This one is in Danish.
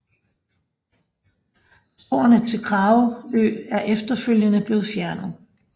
Sporene til Kragerø er efterfølgende blevet fjernet